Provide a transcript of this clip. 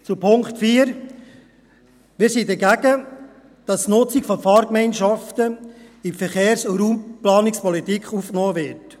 Zu Punkt 4: Wir sind dagegen, dass die Nutzung von Fahrgemeinschaften in die Verkehrs- und Raumplanungspolitik aufgenommen wird.